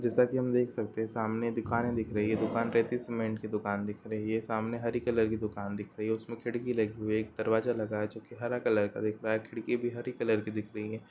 जैसा कि हम देख सकते हैं सामने दुकाने दिख रही है| दुकान सीमेंट की दुकान दिख रही है| सामने हरी कलर की दुकान दिख रही है| उसमें खिड़की लगी है एक दरवाजा लगा है जो हरे कलर का दिख रहा है| खिड़की भी हरे कलर की दिख रही है।